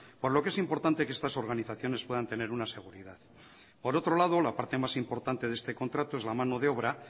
por lo que es importante que estas organizaciones puedan tener una seguridad por otro lado la parte más importante de este contrato es la mano de obra